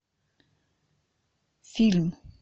фильм